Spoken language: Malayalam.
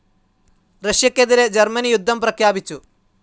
റഷ്യക്കെതിരെ ജർമ്മനി യുദ്ധം പ്രഖ്യാപിച്ചു.